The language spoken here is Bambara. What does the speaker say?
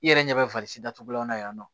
I yɛrɛ ɲɛ bɛ datugulanw na yan nɔ